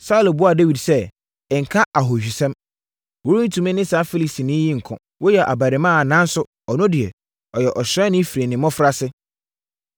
Saulo buaa Dawid sɛ, “Nka ahohwisɛm! Worentumi ne saa Filistini yi nko. Woyɛ abarimaa nanso, ɔno deɛ, ɔyɛ ɔsraani firi ne mmɔfraase.”